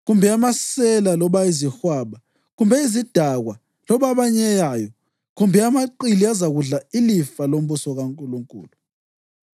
kumbe amasela loba izihwaba kumbe izidakwa loba abanyeyayo kumbe amaqili azakudla ilifa lombuso kaNkulunkulu.